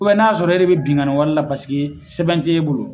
n'a y'a sɔrɔ e de bɛ binnkani wale la sɛbɛn tɛ e bolo